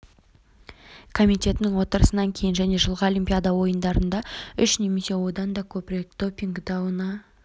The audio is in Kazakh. комитетінің отырысынан кейін және жылғы олимпиада ойындарында үш немесе одан да көп рет допинг дауына